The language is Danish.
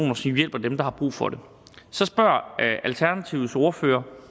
hjælper dem der har brug for det så spørger alternativets ordfører